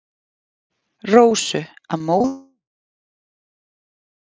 Rósu að móðurinni einni frátalinni.